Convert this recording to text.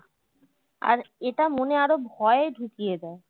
আর এটা মনে আরো ভয় ঢুকিয়ে দেয়